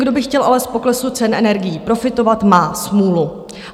Kdo by chtěl ale z poklesu cen energií profitovat, má smůlu.